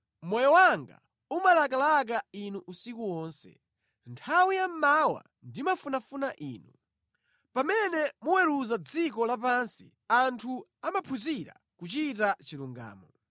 Moyo wanga umalakalaka Inu usiku wonse; nthawi yammawa ndimafunafuna Inu. Pamene muweruza dziko lapansi anthu amaphunzira kuchita chilungamo.